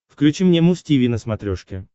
включи мне муз тиви на смотрешке